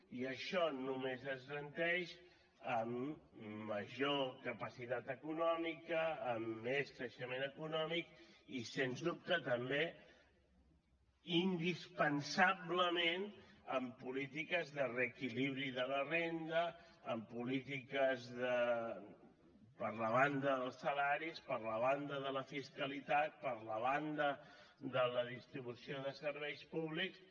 i això només es garanteix amb major capacitat econòmica amb més creixement econòmic i sens dubte també indispensablement amb polítiques de reequilibri de la renda amb polítiques per la banda dels salaris per la banda de la fiscalitat per la banda de la distribució de serveis públics